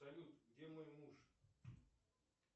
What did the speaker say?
салют где мой муж